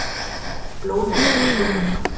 Blóð vantar í Blóðbankann